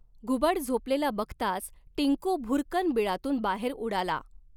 घुबड झॊपलेला बघताच, टिंकू भुरकन बिळातून बाहेर उडाला!